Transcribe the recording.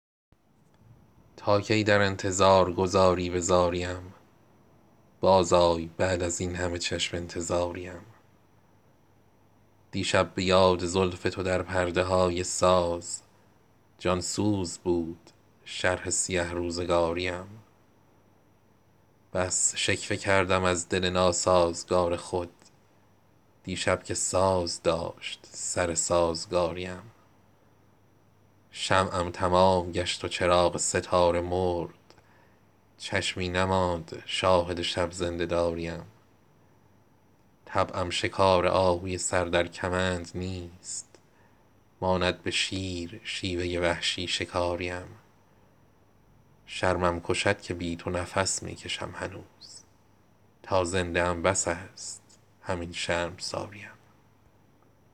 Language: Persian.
تا کی در انتظار گذاری به زاری ام باز آی بعد از این همه چشم انتظاری ام دیشب به یاد زلف تو در پرده های ساز جان سوز بود شرح سیه روزگاری ام بس شکوه کردم از دل ناسازگار خود دیشب که ساز داشت سر سازگاری ام شمعم تمام گشت و چراغ ستاره مرد چشمی نماند شاهد شب زنده داری ام گفتی هوای لاله عذاران ری خوش است پنداشتی که بلهوس لاله زاری ام طبعم شکار آهوی سر در کمند نیست ماند به شیر شیوه وحشی شکاری ام سندان به سرزنش نتوان کرد پایمال سرکوبی ام زیاده کند پافشاری ام شرمم کشد که بی تو نفس می کشم هنوز تا زنده ام بس است همین شرمساری ام تا هست تاج عشق توام بر سر ای غزال شیرین بود به شهر غزل شهریاری ام